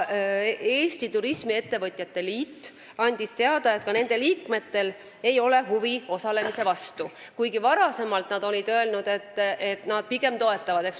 Eesti Turismifirmade Liit andis teada, et ka nende liikmetel ei ole huvi osalemise vastu, kuigi varem olid nad Expole minekut pigem toetanud.